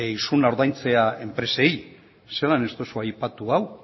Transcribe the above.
isuna ordaintzea enpresei zelan ez duzu aipatu hau